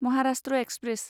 Maharashtra express